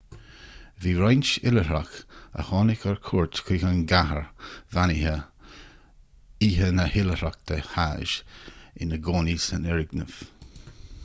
bhí roinnt oilithreach a tháinig ar cuairt chuig an gcathair bheannaithe oíche na hoilithreachta hajj ina gcónaí san fhoirgneamh